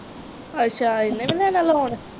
ਅੱਛਾ ਇਹਨੇ ਵੀ ਦੇਣਾ ਲੋਨ।